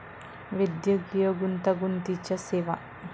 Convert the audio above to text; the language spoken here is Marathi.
वैद्यकीय गुंतागुंतीच्या सेवा